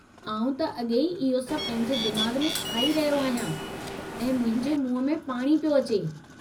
आऊं त अॻेई इहो सभु पंहिंजे दिमागु में खाई रहियो आहियां ऐं मुंहिंजे मुंहुं में पाणी पियो अचे।